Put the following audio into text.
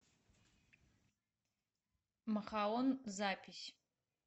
махаон запись